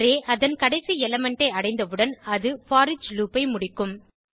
array அதன் கடைசி element ஐ அடைந்தவுடன் அது போரிச் லூப் ஐ முடிக்கும்